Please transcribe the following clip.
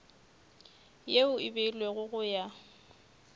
yeo e beilwego go ya